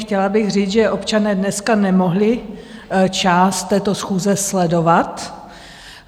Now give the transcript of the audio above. Chtěla bych říct, že občané dneska nemohli část této schůze sledovat.